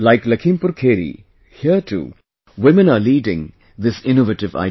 Like Lakhimpur Kheri, here too, women are leading this innovative idea